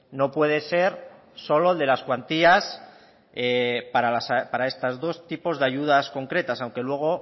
no puede ser solo el de las cuantías para estos dos tipos de ayudas concretas aunque luego